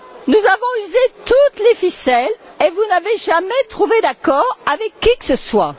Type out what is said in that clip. Nous avons usé toutes les ficelles et vous n'avez jamais trouvé d'accord avec qui que ce soit.